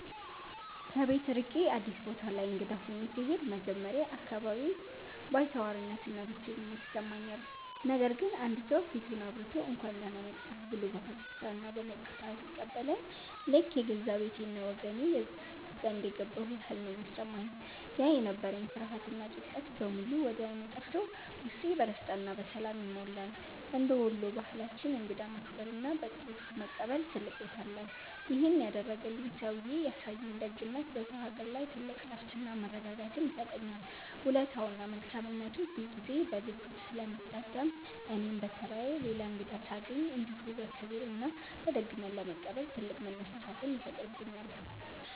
ከቤት ርቄ አዲስ ቦታ ላይ እንግዳ ሆኜ ስሄድ መጀመሪያ አካባቢ ባይተዋርነትና ብቸኝነት ይሰማኛል። ነገር ግን አንድ ሰው ፊቱን አብርቶ፣ «እንኳን ደህና መጣህ» ብሎ በፈገግታና በሞቅታ ሲቀበለኝ ልክ የገዛ ቤቴና ወገኔ ዘንድ የገባሁ ያህል ነው የሚሰማኝ። ያ የነበረኝ ፍርሃትና ጭንቀት በሙሉ ወዲያው ጠፍቶ ውስጤ በደስታና በሰላም ይሞላል። እንደ ወሎ ባህላችን እንግዳን ማክበርና በጥሩ ፊት መቀበል ትልቅ ቦታ አለው። ይሄን ያደረገልኝ ሰውዬ ያሳየኝ ደግነት በሰው አገር ላይ ትልቅ እረፍትና መረጋጋትን ይሰጠኛል። ውለታውና መልካምነቱ ሁልጊዜ በልቤ ውስጥ ስለሚታተም እኔም በተራዬ ሌላ እንግዳ ሳገኝ እንደዚሁ በክብርና በደግነት ለመቀበል ትልቅ መነሳሳትን ይፈጥርብኛል።